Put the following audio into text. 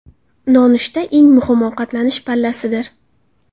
Nonushta eng muhim ovqatlanish pallasidir.